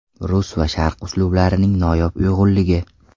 Rus va sharq uslublarining noyob uyg‘unligi.